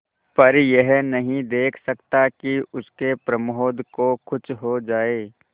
पर यह नहीं देख सकता कि उसके प्रमोद को कुछ हो जाए